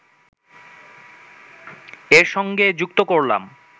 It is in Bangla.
এর সঙ্গে যুক্ত করলাম